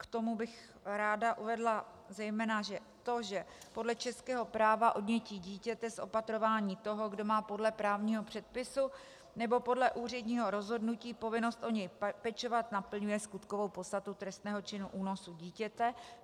K tomu bych ráda uvedla zejména to, že podle českého práva odnětí dítěte z opatrování toho, kdo má podle právního předpisu nebo podle úředního rozhodnutí povinnost o něj pečovat, naplňuje skutkovou podstatu trestného činu únosu dítěte.